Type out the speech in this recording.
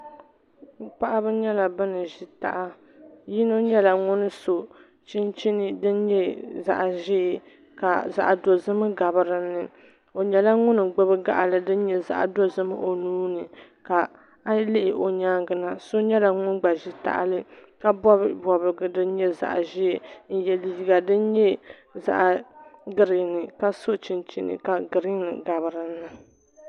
Paɣaba nyɛla bin ʒi taha yino nyɛla ŋun so chinchin din nyɛ zaɣ ʒiɛ ka zaɣ dozim gabi dinni o nyɛla ŋun gbubi gaɣali din nyɛ zaɣ dozim o nuuni ka a yi lihi o nyaangi na so nyɛla ŋun gba ʒi tahali ka bob bobgi din nyɛ zaɣ ʒiɛ n yɛ liiga din nyɛ zaɣ giriin ka so chinchini ka giriin gabi dinni